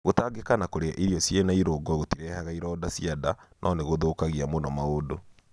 Gũtangĩka na kũrĩa irio ciena i rũngo gũtirehaga ironda cia nda, no nĩkũthũkagia mũno maũndũ.